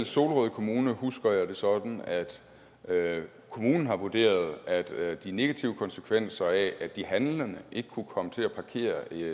solrød kommune husker jeg det sådan at kommunen har vurderet at de negative konsekvenser af at de handlende ikke kunne komme til at parkere